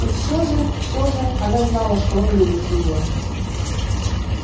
и всё же всё же она знала что он любит её